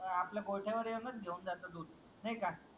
आपल्या गोठ्यावर येऊनच घेऊन जाता दूध नाही का